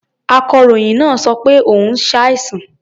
Akọ̀ròyìn náà sọ pé òun ṣàìsàn.